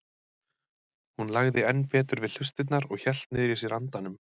Hún lagði enn betur við hlustirnar og hélt niðri í sér andanum.